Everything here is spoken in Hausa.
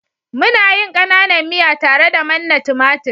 muna yin kananan miya tare da manna tumatir